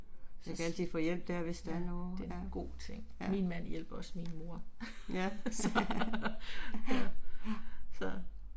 Jeg kan altid få hjælp der hvis der er noget. Ja. Ja. Ja, ja